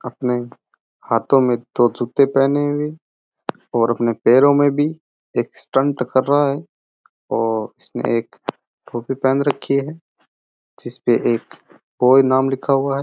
अपने हांथो में दो जुत्ते पहेने हुए है और अपने पैरों में भी एक स्टंट कर रा है और इसने एक टोपी पहेन राखी है जिसपे एक बॉय नाम लिखा है।